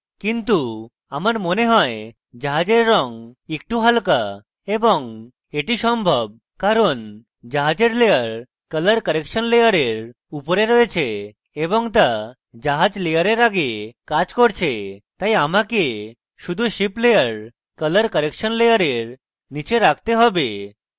কিন্তু আমার মনে হয় জাহাজের drop একটু হালকা এবং এটি সম্ভব কারণ জাহাজের layer colour correction layer উপরে আছে এবং তা জাহাজ layer আগে কাজ করছে তাই আমাকে শুধু ship layer colour correction layer নীচে রাখতে হবে